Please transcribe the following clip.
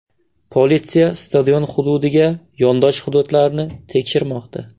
Politsiya stadion hududiga yondosh hududlarni tekshirmoqda.